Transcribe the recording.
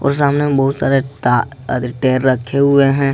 और सामने बहुत सारे टायर रखे हुए हैं।